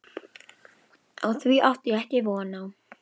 Á því átti ég ekki von.